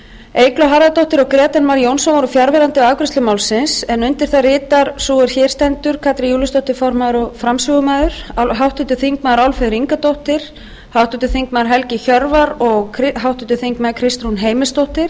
eygló harðardóttir og grétar mar jónsson voru fjarverandi við afgreiðslu málsins en undir það ritar sú er hér stendur katrín júlíusdóttir formaður og framsögumaður háttvirtir þingmenn álfheiður ingadóttir háttvirtur þingmaður helgi hjörvar og háttvirtur þingmaður kristrún heimisdóttir